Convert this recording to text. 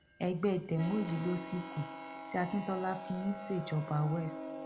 ẹgbẹ demo yìí ló sì kù tí akintola fi ń ṣèjọba west